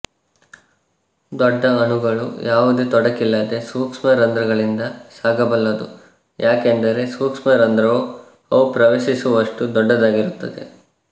ದೊಡ್ಡ ಅಣುಗಳು ಯಾವುದೇ ತೊಡಕಿಲ್ಲದೆ ಸೂಕ್ಷ್ಮ ರಂಧ್ರಗಳಿಂದ ಸಾಗಬಲ್ಲದು ಯಾಕೆಂದರೆ ಸೂಕ್ಷ್ಮ ರಂಧ್ರವು ಅವು ಪ್ರವೇಶಿಸುವಷ್ಟು ದೊಡ್ಡದಾಗಿರುತ್ತವೆ